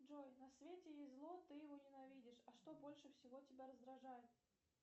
джой на свете есть зло ты его ненавидишь а что больше всего тебя раздражает